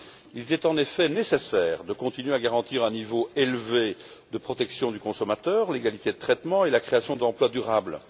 Il était en effet nécessaire de continuer à garantir un niveau élevé de protection du consommateur, l'égalité de traitement et la création d'emplois durables.